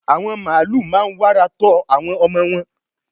àwọn màálù máa n wàrà tọ́ àwọn ọmọ wọn